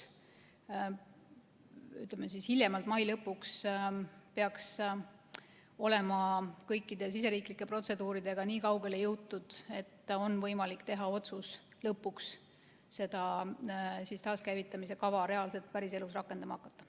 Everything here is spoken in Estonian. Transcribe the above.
Ütleme, hiljemalt mai lõpuks peaks olema jõutud kõikide siseriiklike protseduuridega nii kaugele, et on võimalik teha otsus lõpuks seda taaskäivitamise kava reaalselt päriselus rakendama hakata.